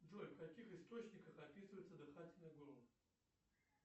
джой в каких источниках описывается дыхательное горло